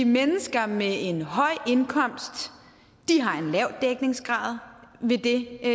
mennesker med en høj indkomst har en lav dækningsgrad med det